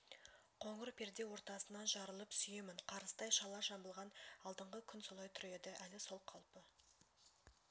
қоңыр перде ортасынан жарылып сүйемін қарыстай шала жабылған алдыңғы күн солай тұр еді әлі сол қалпы